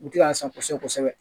U tila an san kosɛbɛ kosɛbɛ